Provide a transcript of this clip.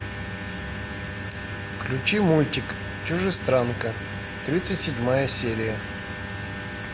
включи мультик чужестранка тридцать седьмая серия